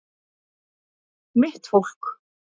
Mitt fólk